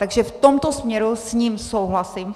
Takže v tomto směru s ním souhlasím.